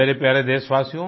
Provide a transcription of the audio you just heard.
मेरे प्यारे देशवासियो